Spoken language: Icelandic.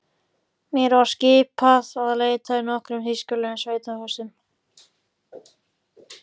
Mér var skipað að leita í nokkrum þýskulegum sveitahúsum.